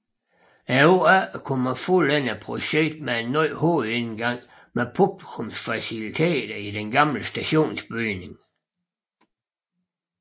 Året efter kunne man fuldende projektet med en ny hovedindgang med publikumsfaciliteter i den gamle stationsbygning